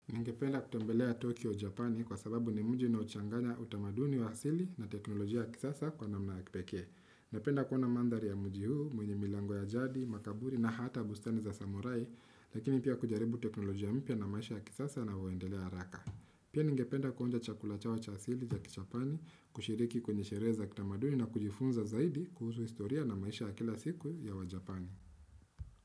Ningependa kutembelea Tokyo, Japani kwa sababu ni mji unaochanganya utamaduni wa asili na teknolojia ya kisasa kwa namna ya kipekee. Ningependa kuona mandhari ya mji huu, mwenye milango ya jadi, makaburi na hata bustani za samurai, lakini pia kujaribu teknolojia mpya na maisha ya kisasa na na uendelee haraka. Pia ningependa kuonja chakula chao cha asili ya kichapani, kushiriki kwenye sherehe za kitamaduni na kujifunza zaidi kuhusu historia na maisha ya kila siku ya waJapani.